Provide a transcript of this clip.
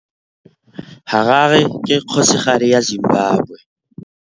Harare ke kgosigadi ya Zimbabwe.